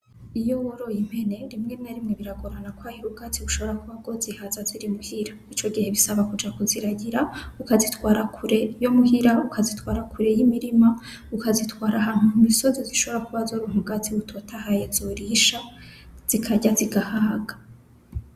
Iyo woroye impene rimwe na rimwe biragorana kubera kwahira ubwatsi bushobora kuzihaza ziri muhira, ico gihe bisaba kuja kuziragira, ukazitwara kure yo muhira, ukazitwara kure y'imirima, ukazitwara ahantu mu misozi zishobora kuba zoronka ubwatsi butotahaye zorisha zikarya zigahaga.